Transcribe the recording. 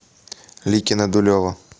ликино дулево